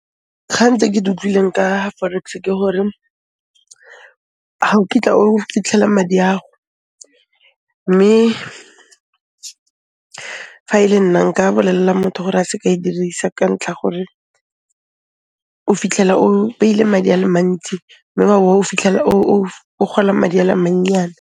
Kgang tse ke di utlwileng ka forex-e ke gore ga o kitla o fitlhela madi a'go, mme fa e le nna nka bolelela motho gore a seke a e dirisa ka ntlha 'a gore o fitlhela o beile madi a le mantsi mme wa bo o fitlhela o gola madi a le mannyane.